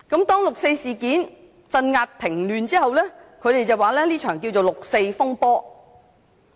當六四事件鎮壓平亂後，中國政府又稱這是一場六四風波。